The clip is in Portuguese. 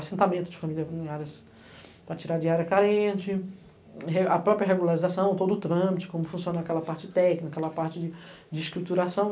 Assentamento de famílias vulnerárias para tirar a diária carente, a própria regularização, todo o trâmite, como funciona aquela parte técnica, aquela parte de escrituração.